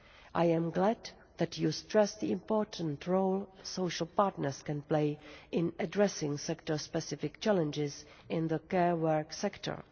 I am glad that Parliament stresses the important role social partners can play in addressing sector-specific challenges in the care work sector.